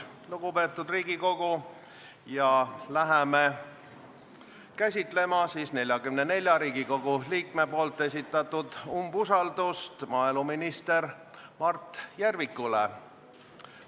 Lugupeetud Riigikogu, hakkame käsitlema 44 Riigikogu liikme esitatud nõuet umbusalduse avaldamiseks maaeluminister Mart Järvikule.